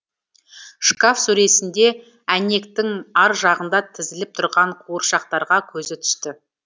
шкаф сөресінде әйнектің ар жағында тізіліп тұрған қуыршақтарға көзі түсті